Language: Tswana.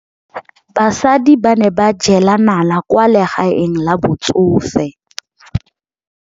Basadi ba ne ba jela nala kwaa legaeng la batsofe.